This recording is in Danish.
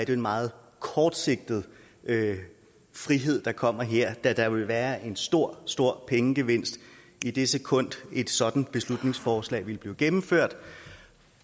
jo en meget kortsigtet frihed der kommer her da der vil være en stor stor pengegevinst i det sekund et sådant beslutningsforslag vil blive gennemført